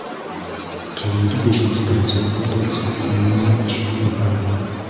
Keyingi, beshinchi daraja esa to‘liq avtonomlik hisoblanadi.